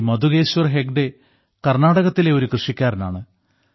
ശ്രീ മധുകേശ്വർ ഹെഗ്ഡേ കർണ്ണാടകത്തിലെ ഒരു കൃഷിക്കാരനാണ്